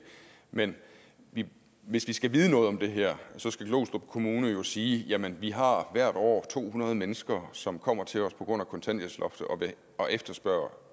men hvis vi skal vide noget om det her skal glostrup kommune jo sige jamen vi har hvert år to hundrede mennesker som kommer til os på grund af kontanthjælpsloftet og efterspørger